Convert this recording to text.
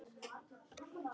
Hver syngur með sínu nefi.